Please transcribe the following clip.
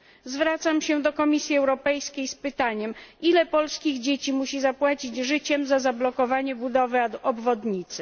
Zwracam się do Komisji Europejskiej z pytaniem ile polskich dzieci musi zapłacić życiem za zablokowanie budowy obwodnicy?